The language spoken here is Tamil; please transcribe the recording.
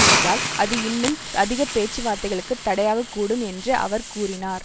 என்றால் அது இன்னும் அதிக பேச்சுவார்த்தைகளுக்கு தடையாகக் கூடும் என்று அவர் கூறினார்